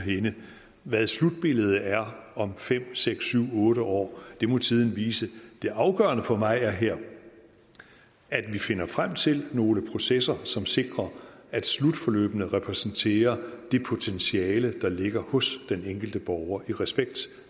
hvad slutbilledet er om fem seks syv otte år må tiden vise det afgørende for mig er her at vi finder frem til nogle processer som sikrer at slutforløbene repræsenterer det potentiale der ligger hos den enkelte borger i respekt